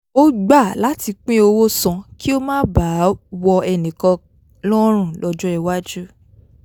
ó gbà láti pín owó san kí ó má baà wọ ẹnìkan lọ́rùn lọ́jọ́ iwájú